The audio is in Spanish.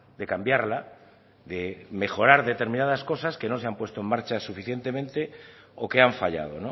de cambiarla de mejorar determinadas cosas que no se han puesto en marcha suficientemente o que han fallado